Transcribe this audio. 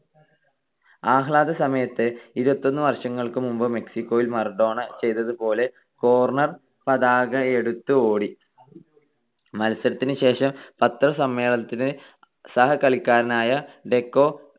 ആഹ്ളാദസമയത്ത്, ഇരുപത്തൊന്ന് വർഷങ്ങൾക്കു മുമ്പ് മെക്സിക്കോയിൽ മറഡോണ ചെയ്തതുപോലെ cornor പതാക എടുത്ത് ഓടി. മത്സരത്തിനു ശേഷം പത്രസമ്മേളനത്തിന് സഹകളിക്കാരനായ ഡെക്കോ